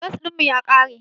Gas ɗin mu ya ƙare.